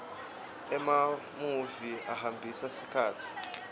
emamuvi ahambisa sikhatsi